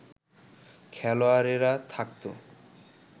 খেলোয়াড়েরা থাকতো